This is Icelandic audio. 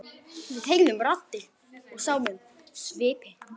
Við heyrðum raddir og sáum svipi.